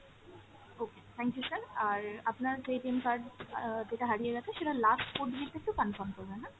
okay, thank you sir, আর আপনার যে card অ্যাঁ যেটা হারিয়ে গেছে সেটার last four digit টা একটু confirm করবেন হ্যাঁ।